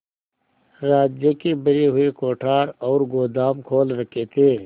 राज्य के भरे हुए कोठार और गोदाम खोल रखे थे